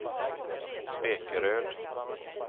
Spekeröd